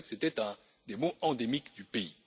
On sait que c'était un des maux endémiques du pays.